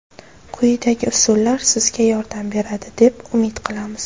Quyidagi usullar sizga yordam beradi deb umid qilamiz.